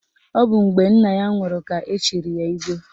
Ọ bụ mgbe nna ya nwụrụ ka echiri ya Igwe